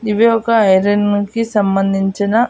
ఇవి ఒక ఐరన్ కి సంబంధించిన.